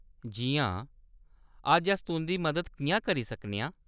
जी हां, अज्ज अस तुंʼदी मदद किʼयां करी सकने आं ?